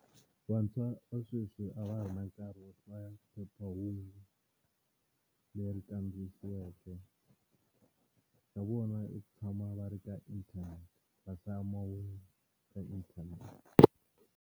Vantshwa va sweswi a va ha ri na nkarhi wo hlaya phephahungu leri kandziyisiweke, xa vona i ku tshama va ri ka internet va hlaya mahungu ka internet.